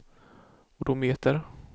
odometer